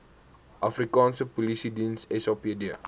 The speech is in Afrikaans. afrikaanse polisiediens sapd